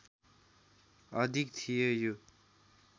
अधिक थिए यो